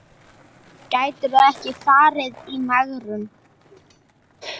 Gætirðu ekki farið í megrun?